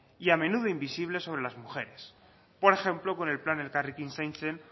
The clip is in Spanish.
y a menudo invisible sobre las mujeres por ejemplo con el plan elkarrekin zaintzen